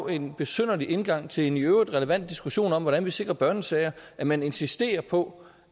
en besynderlig indgang til en i øvrigt relevant diskussion om hvordan vi sikrer børnesager at man insisterer på